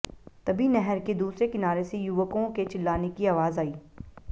तभी नहर के दूसरे किनारे से युवकों के चिल्लाने की आवाज आई